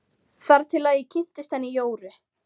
Þar til ég kynntist henni Jóru.